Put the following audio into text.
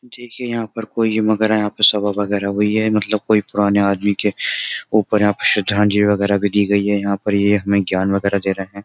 देखिए यहां पर कोई वगैरह यहां पर सवा वगैरह हुई है मतलब कोई पुराने आदमी के ऊपर यहां पर श्रद्धांजली वगैरह भी दी गई है यहां पर ये हमें ज्ञान वगैरह दे रहे हैं।